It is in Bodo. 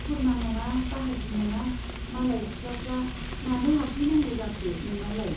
खुरमा नङा बाहागि नङा मालाय सिखलाफ्रा मानो हाबफैनांगौ जाखो नोंनावलाय ?